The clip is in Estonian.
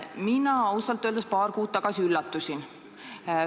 Mina ausalt öeldes paar kuud tagasi üllatusin.